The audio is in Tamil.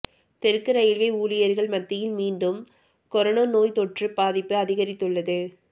தெற்கு ரயில்வே ஊழியா்கள் மத்தியில் மீண்டும் கரோனா நோய்த்தொற்று பாதிப்பு அதிகரித்துள்ளது